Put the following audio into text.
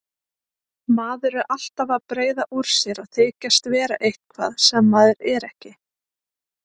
Maður er alltaf að breiða úr sér og þykjast vera eitthvað sem maður er ekki.